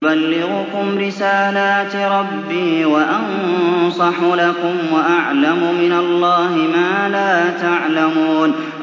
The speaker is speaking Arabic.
أُبَلِّغُكُمْ رِسَالَاتِ رَبِّي وَأَنصَحُ لَكُمْ وَأَعْلَمُ مِنَ اللَّهِ مَا لَا تَعْلَمُونَ